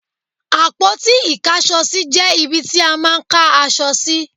Àpótí Ìkáṣọsí jẹ́ ibi ti a máà ń ká aṣọ sí.